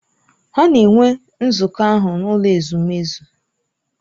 Ha na-enwe nzukọ ahụ n’ụlọ ezumezu.